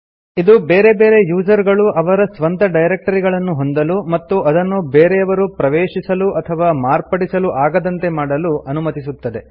ಇದು ಬೇರೆ ಬೇರೆ ಯೂಸರ್ ಗಳು ಅವರ ಸ್ವಂತ ಡೈರೆಕ್ಟರಿಗಳನ್ನು ಹೊಂದಲು ಮತ್ತು ಅದನ್ನು ಬೇರೆಯವರು ಪ್ರವೇಶಿಸಲು ಅಥವಾ ಮಾರ್ಪಡಿಸಲು ಆಗದಂತೆ ಮಾಡಲು ಅನುಮತಿಸುತ್ತದೆ